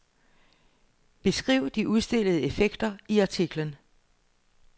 Beskriv de udstillede effekter i artiklen.